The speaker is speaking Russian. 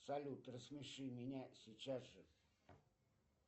салют рассмеши меня сейчас же